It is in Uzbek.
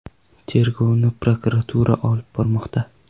Tergovni prokuratura olib bormoqda.